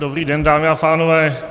Dobrý den, dámy a pánové.